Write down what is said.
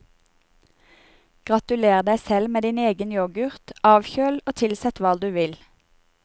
Gratuler deg selv med din egen yoghurt, avkjøl og tilsett hva du vil.